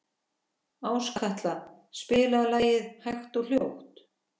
Áskatla, spilaðu lagið „Hægt og hljótt“.